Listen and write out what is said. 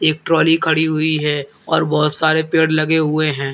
एक ट्राली खड़ी हुई है और बहुत सारे पेड़ लगे हुए हैं।